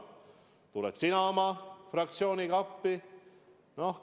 Tuled sina oma fraktsiooniga appi?